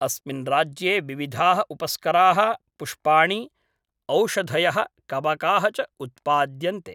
अस्मिन् राज्ये विविधाः उपस्कराः पुष्पाणि, औषधयः, कवकाः च उत्पाद्यन्ते।